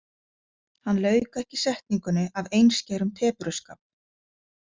Hann lauk ekki setningunni af einskærum tepruskap.